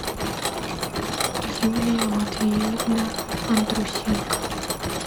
юлия матвеевна андрусенко